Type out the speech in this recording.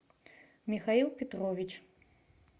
михаил петрович